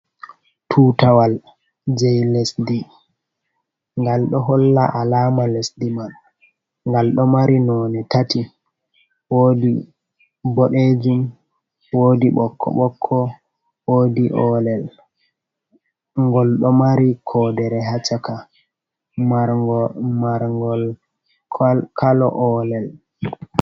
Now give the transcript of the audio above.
Tutawal jei lesdi, ngal ɗo holla alama lesdi man, ngal ɗo mari nonde tati, wodi boɗejum, wodi ɓokko ɓokko, wodi olel, ngol ɗo mari kodere ha chaka mar ngol kolo olel.